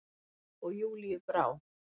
Og Júlíu brá.